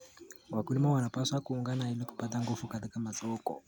Wakulima wanapaswa kuungana ili kupata nguvu katika masoko.